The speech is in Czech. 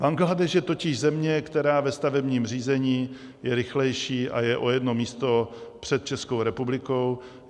Bangladéš je totiž země, která ve stavebním řízení je rychlejší a je o jedno místo před Českou republikou.